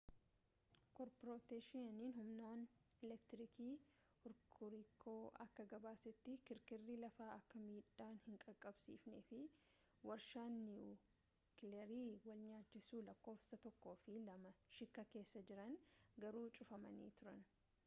corporationiin human eleektiriikii horkuriku akka gabaasetti kirkirri lafaa akka miidhaa hin qaqqabsiifnefi warshaan niiwukileerii walnyaachisu lakkoofsa 1fi2 shiikaa keessa jiran garuu cufamanii turani